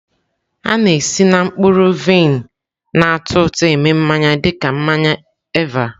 A na-esi na mkpụrụ vaịn na-atọ ụtọ eme mmanya dị ka mmanya Eva.